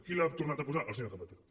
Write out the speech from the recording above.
qui l’ha tornat a posar el senyor zapatero